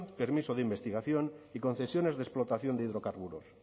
permiso de investigación y concesiones de explotación de hidrocarburos